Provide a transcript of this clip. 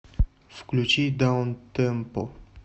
включи даунтемпо